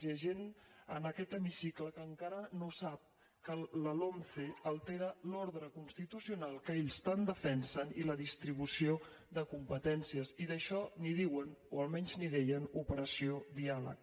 hi ha gent en aquest hemicicle que encara no sap que la lomce altera l’ordre constitucional que ells tant defensen i la distribució de competències i d’això en diuen o almenys n’hi deien operació diàleg